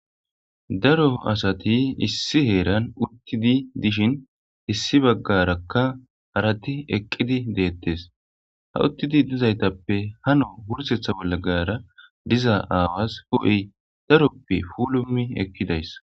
daro asati issi heeran uttidi dishin issi baggarakka harati eqqidi deettes ha uttidi dizaytappe hano wursetha bolla gara diza aawas hh'eyi daroppe plumi ekidaysa